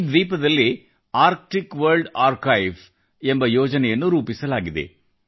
ಈ ದ್ವೀಪದಲ್ಲಿ Arctic World Archive ಎಂಬ ಯೋಜನೆಯನ್ನು ರೂಪಿಸಲಾಗಿದೆ